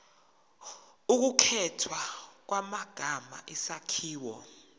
ukukhethwa kwamagama isakhiwo